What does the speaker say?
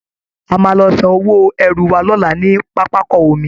A máa lọ san owó ẹrù wa lọ́la ní pápákọ omi